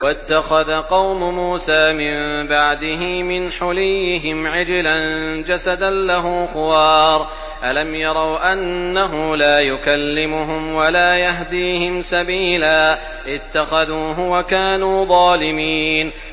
وَاتَّخَذَ قَوْمُ مُوسَىٰ مِن بَعْدِهِ مِنْ حُلِيِّهِمْ عِجْلًا جَسَدًا لَّهُ خُوَارٌ ۚ أَلَمْ يَرَوْا أَنَّهُ لَا يُكَلِّمُهُمْ وَلَا يَهْدِيهِمْ سَبِيلًا ۘ اتَّخَذُوهُ وَكَانُوا ظَالِمِينَ